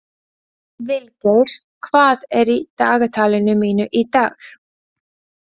Vilgeir, hvað er í dagatalinu mínu í dag?